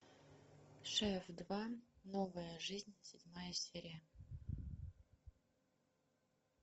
шеф два новая жизнь седьмая серия